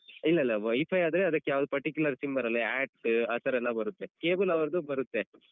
ಇಲ್ಲ ಇಲ್ಲ WiFi ಆದ್ರೆ ಅದಕ್ಕೆ ಯಾವ್ದು particular sim ಬರಲ್ಲ act ಆತರ ಎಲ್ಲ ಬರುತ್ತೆ cable ಅವರ್ದು ಬರುತ್ತೆ.